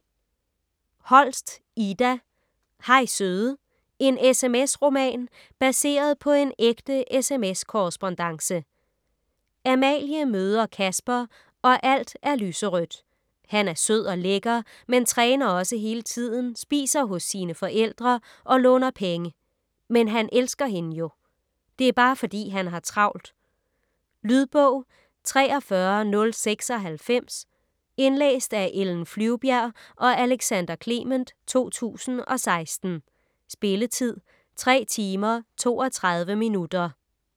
Holst, Ida: Hej søde: en SMS-roman: baseret på en ægte SMS-korrespondance Amalie møder Kasper og alt er lyserødt. Han er sød og lækker men træner også hele tiden, spiser hos sine forældre og låner penge. Men han elsker hende jo. Det er bare fordi, han har travlt. Lydbog 43096 Indlæst af Ellen Flyvbjerg og Alexander Clement, 2016. Spilletid: 3 timer, 32 minutter.